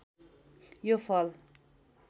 यो फल